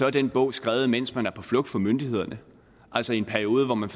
er den bog skrevet mens man var på flugt fra myndighederne altså i en periode hvor man